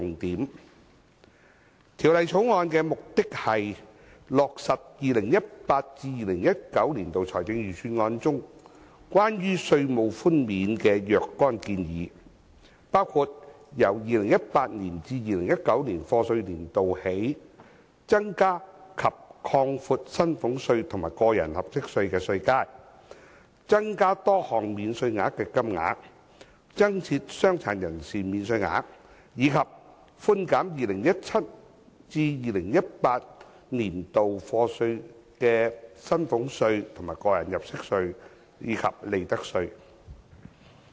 《2018年稅務條例草案》的目的，是落實 2018-2019 年度財政預算案中關於稅務寬免的若干建議，包括由 2018-2019 課稅年度起，增加及擴闊薪俸稅和個人入息課稅的稅階、增加多項免稅額的金額、增設傷殘人士免稅額，以及寬減 2017-2018 課稅年度的薪俸稅、個人入息課稅及利得稅。